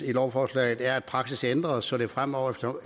i lovforslaget er at praksis ændres så det fremover